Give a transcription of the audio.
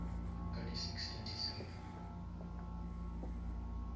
ka di six tša december